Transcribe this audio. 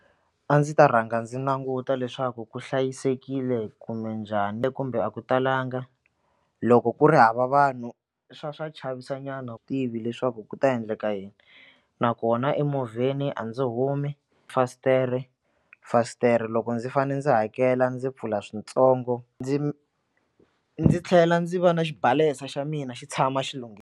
A ndzi ta rhanga ndzi languta leswaku ku hlayisekile kumbe njhani kumbe a ku talanga loko ku ri hava vanhu swa swa chavisa nyana wu tivi leswaku ku ta endleka yini nakona emovheni a ndzi humi fasitere fasitere loko ndzi fanele ndzi hakela ndzi pfula swintsongo ndzi ndzi tlhela ndzi va na xibalesa xa mina xi tshama xi .